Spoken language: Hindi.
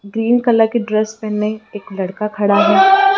ग्रीन कलर की ड्रेस पहने एक लड़का खड़ा हैं।